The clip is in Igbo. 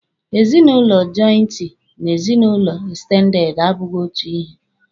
Ezinụlọ jọịntị na ezinụlọ ekstendede abụghị otu ihe.